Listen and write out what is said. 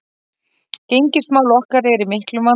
Gengismál okkar eru í miklum vanda